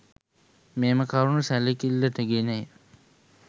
මෙම කරුණු සැලකිල්ලට ගෙනය.